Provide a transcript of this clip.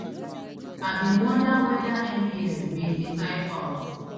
i bin wonder weda mbs bin dey type out